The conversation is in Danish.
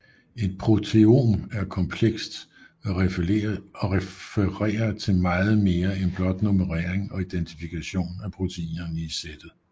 Et proteom er komplekst og refererer til meget mere end blot nummerering og identifikation af proteinerne i sættet